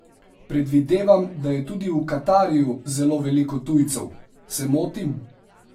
Predvidevam, da je tudi v Katarju zelo veliko tujcev, se motim?